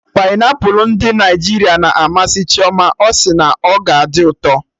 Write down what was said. Painiapụlụ ndị Naịjirịa na amasị Chioma, ọ sị na ọ ka dị ụtọ